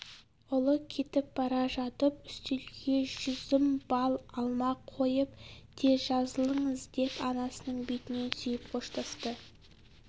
ұлы кетіп бара жатып үстелге жүзім бал алма қойып тез жазылыңыз деп анасының бетінен сүйіп қоштасты